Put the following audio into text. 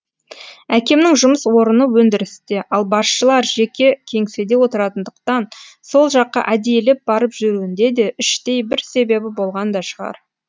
әкемнің жұмыс орыны өндірісте ал басшылар жеке кеңседе отыратындықтан сол жаққа әдейілеп барып жүруінде де іштей бір себебі болған да шығар